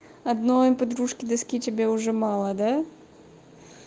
одной подружке доски тебе уже мало да